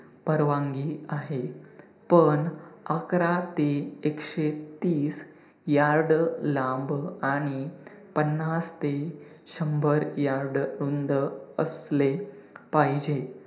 परवानगी आहे. पण अकरा ते एकशे तीस yard लांब आणि पन्नास ते शंभर yard रुंद असले पाहिजे.